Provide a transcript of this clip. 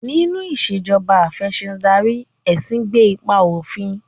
Nínú Ìṣèjọba Af'ẹ̀sìndarí, ẹ̀sìn gbé ipa òfin